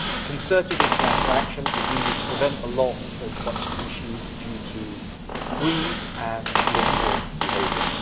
Concerted international action is needed to prevent the loss of such species due to greed and ill informed behaviour.